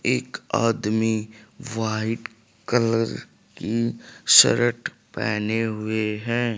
एक आदमी white colour की शर्ट पहने हुए है।